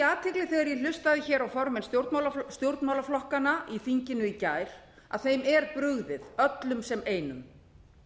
athygli þegar ég hlustaði á formenn stjórnmálaflokkanna í þinginu í gær að þeim er brugðið öllum sem einum